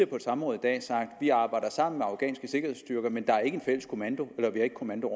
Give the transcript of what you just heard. på et samråd vi arbejder sammen med afghanske sikkerhedsstyrker men der er ikke en fælles kommando eller vi har ikke kommando